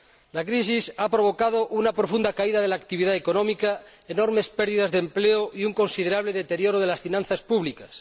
La crisis ha provocado una profunda caída de la actividad económica, enormes pérdidas de empleo y un considerable deterioro de las finanzas públicas.